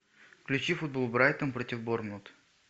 включи футбол брайтон против борнмут